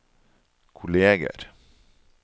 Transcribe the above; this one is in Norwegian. kolleger